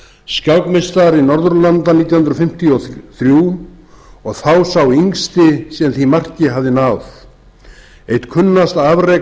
skákmeistari norðurlanda nítján hundruð fimmtíu og þrjú og þá sá yngsti sem því marki hafði náð eitt kunnasta afrek